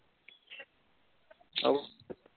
भाऊ